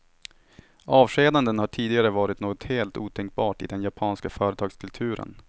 Avskedanden har tidigare varit något helt otänkbart i den japanska företagskulturen.